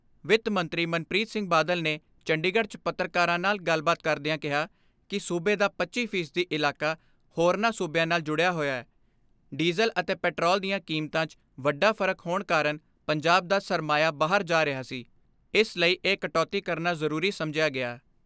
ਵਿੱਤ ਮੰਤਰੀ ਮਨਪ੍ਰੀਤ ਸਿੰਘ ਬਾਦਲ ਨੇ ਚੰਡੀਗੜ੍ਹ 'ਚ ਪੱਤਰਕਾਰਾਂ ਨਾਲ ਗੱਲਬਾਤ ਕਰਦਿਆਂ ਕਿਹਾ ਕਿ ਸੂਬੇ ਦਾ ਪੱਚੀ ਫ਼ੀ ਸਦੀ ਇਲਾਕਾ ਹੋਰਨਾਂ ਸੂਬਿਆਂ ਨਾਲ ਜੁੜਿਆ ਹੋਇਐ, ਡੀਜ਼ਲ ਅਤੇ ਪੈਟਰੋਲ ਦੀਆਂ ਕੀਮਤਾਂ 'ਚ ਵੱਡਾ ਫਰਕ ਹੋਣ ਕਾਰਨ ਪੰਜਾਬ ਦਾ ਸਰਮਾਇਆ ਬਾਹਰ ਜਾ ਰਿਹਾ ਸੀ ਇਸ ਲਈ ਇਹ ਕਟੌਤੀ ਕਰਨਾ ਜ਼ਰੂਰੀ ਸਮਝਿਆ ਗਿਆ।